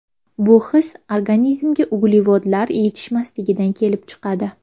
Bu his organizmga uglevodlar yetishmasligidan kelib chiqadi.